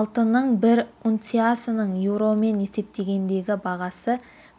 алтынның бір унциясының еуромен есептегендегі бағасы